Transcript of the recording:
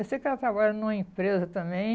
Eu sei que ela trabalha numa empresa também.